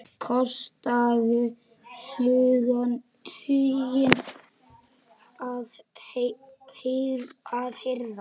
Kostaðu huginn að herða.